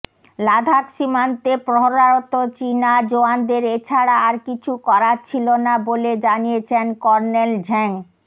লাদাখ সীমান্তে প্রহরারত চিনা জওয়ানদের এছাড়া আর কিছু করার ছিল না বলে জানিয়েছেন কর্নেল ঝ্যাং